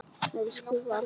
Elsku Valdi.